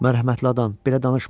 Mərhəmətli adam, belə danışma.